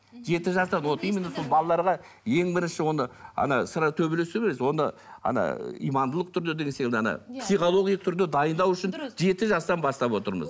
жеті жастан вот именно сол балаларға ең бірінші оны ана төбелесті емес оны ана имандылық түрде ана психологиялық түрде дайындау үшін жеті жастан бастап отырмыз